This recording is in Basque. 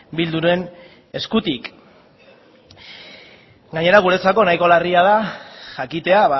bilduren eskutik gainera guretzako nahiko larria da jakitea